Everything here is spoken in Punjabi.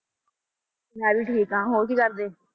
ਮੈਂ ਵੀ ਠੀਕ ਹਾਂ, ਹੋਰ ਕੀ ਕਰਦੇ?